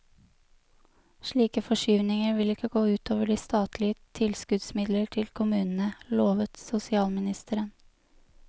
Slike forskyvninger vil ikke gå ut over de statlige tilskuddsmidler til kommunene, lovet sosialministeren.